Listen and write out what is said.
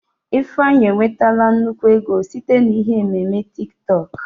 Ifeanyị enwetala nnukwu ego site na ihe ememe TiK TọK